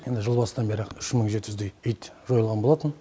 енді жыл басынан бері үш мың жеті жүздей ит жойылған болатын